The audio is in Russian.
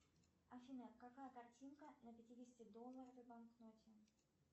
афина какая картинка на пятидесяти долларовой банкноте